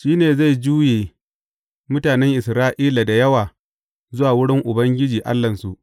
Shi ne zai juye mutanen Isra’ila da yawa zuwa wurin Ubangiji Allahnsu.